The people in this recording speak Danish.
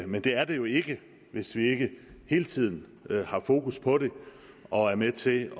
men det er der jo ikke hvis vi ikke hele tiden har fokus på det og er med til